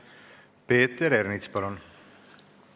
Peeter Ernits, palun!